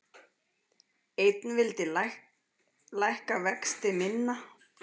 Einn vildi lækka vexti minna